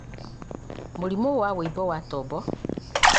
mĩrimũ ta wũimbo wa tombo